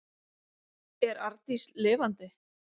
Er Arndís lifandi?